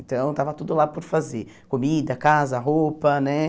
Então estava tudo lá por fazer, comida, casa, roupa né.